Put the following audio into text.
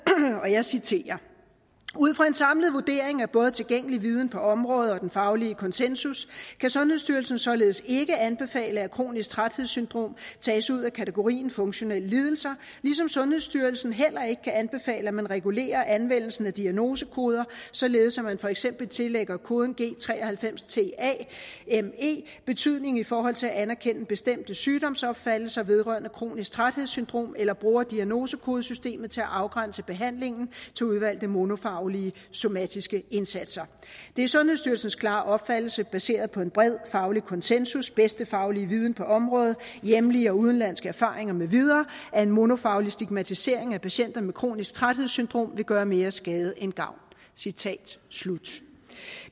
jeg citerer ud fra en samlet vurdering af både tilgængelig viden på området og den faglige konsensus kan sundhedsstyrelsen således ikke anbefale at kronisk træthedssyndrom tages ud af kategorien funktionelle lidelser ligesom sundhedsstyrelsen heller ikke kan anbefale at man regulerer anvendelsen af diagnosekoder således at man for eksempel tillægger koden g93tame betydning i forhold til at anerkende bestemte sygdomsopfattelser vedrørende kronisk træthedssyndrom eller bruger diagnosekodesystemet til at afgrænse behandlingen til udvalgte monofaglige somatiske indsatser det er sundhedsstyrelsens klare opfattelse baseret på en bred faglig konsensus bedste faglige viden på området hjemlige og udenlandske erfaringer mv at en monofaglig stigmatisering af patienter med kronisk træthedssyndrom vil gøre mere skade end gavn citat slut